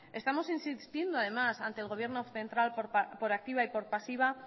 estamos insistiendo además ante el gobierno central por activa y por pasiva